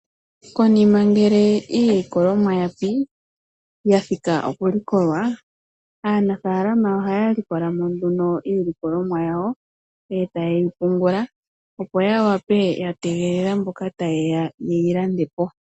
Konima ngele iilikolomwa yapi, yathika oku likolwa aanafalama ohaya likolamo nduno iilikolomwa yawo eta yeyi pungula, opo ya tegelele mboka tayeya ye yilandepo.